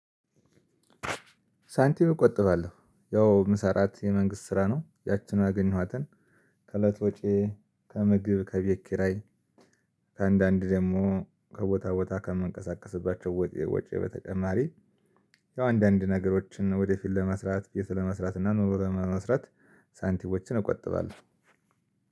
ሳንቲም እቆጥባለሁ ያው የምሰራት የመንግስት ስራ ነው ያችን ያገኘኋትን ከእለት ወጪዬ ከምግብ ከቤት ኪራይ ከአንዳንድ ደግሞ ከቦታ ቦታ ከምንቀሳቀስባቸው ወጪ በተጨማሪ ያው አንዳንድ ነገሮችን ወደፊት ለመስራት ቤት ለመስራት እና ኑሮ ለመመስረት። ሳንቲሞችን እቆጥባለሁ።